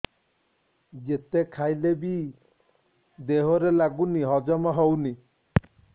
ଯେତେ ଖାଇଲେ ବି ଦେହରେ ଲାଗୁନି ହଜମ ହଉନି